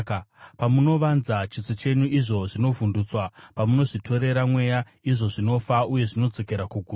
Pamunovanza chiso chenyu, izvo zvinovhundutswa; pamunozvitorera mweya, izvo zvinofa uye zvinodzokera kuguruva.